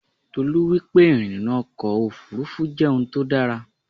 Tolú wípé ìrìnnà ọkọ̀ Òfurufú jẹ́ òun tó dára.